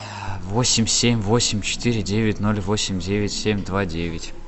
восемь семь восемь четыре девять ноль восемь девять семь два девять